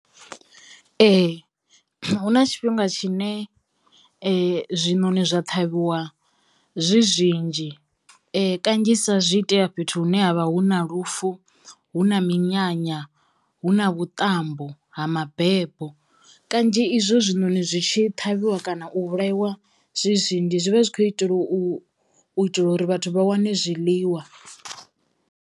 Ee hu na tshifhinga tshine zwiṋoni zwa ṱhavhiwa zwi zwinzhi kanzhisa zwi itea fhethu hune ha vha hu na lufu, hu na minyanya, hu na vhuṱambo ha mabebo. Kanzhi izwo zwiṋoni zwi tshi ṱhavhiwa kana u vhulaiwa zwi zwinzhi zwi vha zwi kho itelwa u u itela uri vhathu vha wane zwiḽiwa.